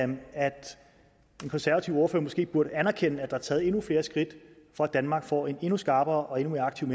den konservative ordfører måske burde anerkende at der er taget endnu flere skridt for at danmark får en endnu skarpere og endnu mere aktiv